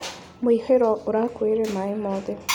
Mũihũro ũrakuire mahiũ mothe.